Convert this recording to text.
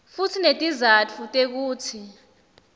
futsi netizatfu tekutsi